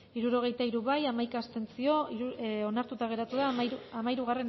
hirurogeita hiru boto aldekoa hamaika abstentzio onartuta geratu da hamairugarrena